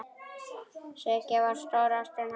Sigga var stóra ástin hans.